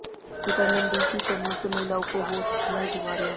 vitamin D की कमी से महिलाओं को हो सकती ये बीमारियां